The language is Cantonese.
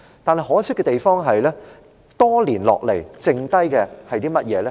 不過，可惜的地方是，多年後，只剩下甚麼呢？